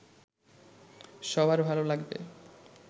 সবার ভালো লাগবে